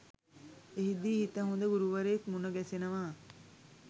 එහිදී හිත හොඳ ගුරුවරයෙක් මුණ ගැසෙනවා.